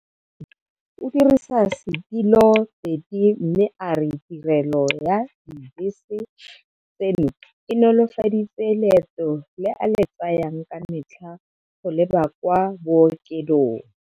Jaanong o dirisa setiloteti mme a re tirelo ya dibese tseno e nolofaditse leeto le a le tsayang ka metlha go leba kwa bookelong.